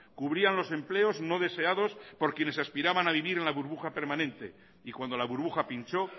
cubrían los empleos no deseados por quienes aspiraban a vivir en la burbuja permanente y cuando la burbuja pinchó